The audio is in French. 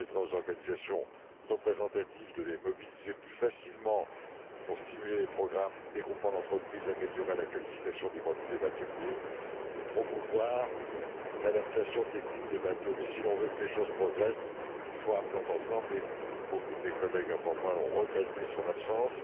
Elle permettra aux organisations représentatives de le mobiliser plus facilement pour stimuler les programmes des groupements d'entreprises, améliorer la qualification des bateliers et promouvoir l'adaptation technique des bateaux. Or, si l'on veut que les choses progressent, il faut un plan d'ensemble et beaucoup de mes collègues avant moi ont regretté son absence.